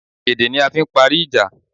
Èdè ni a fi n parí ìjà